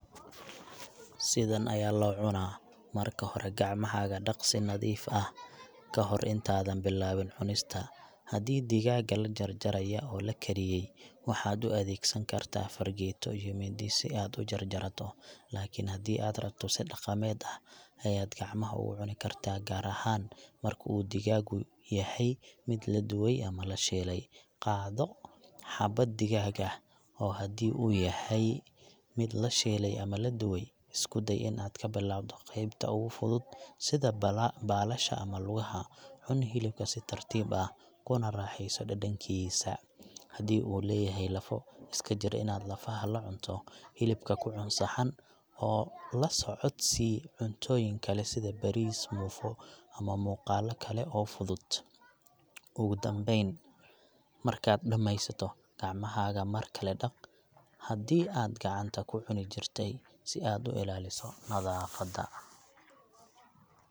Sidan ayaa loo cunaa, Marka hore, gacmahaaga dhaq si nadiif ah ka hor intaadan bilaabin cunista. Haddii digaagga la jarjaraya oo la kariyey, waxaad u adeegsan kartaa fargeeto iyo mindi si aad u jarjarato. Laakiin haddii aad rabto, si dhaqameed ah ayaad gacmaha ugu cuni kartaa, gaar ahaan marka uu digaaggu yahay mid la dubay ama la shiilay. Qaado xabbad digaag ah, oo haddii uu yahay mid la shiilay ama la dubay, isku day in aad ka bilowdo qaybta ugu fudud sida bala.., baalasha ama lugaha. Cun hilibka si tartiib ah, kuna raaxayso dhadhankiisa. Haddii uu leeyahay lafo, iska jir inaad lafaha la cunto. Hilibka ku cun saxan, oo la socodsii cuntooyin kale sida bariis, muufo ama muuqaalo kale oo fudud. Ugu dambayn, markaad dhammaysato, gacmahaaga mar kale dhaq, haddii aad gacanta ku cuni jirtay, si aad u ilaaliso nadaafada.